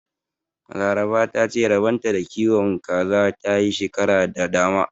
Laraba ta ce rabon ta da kiwon kaza ta yi shekaru da dama.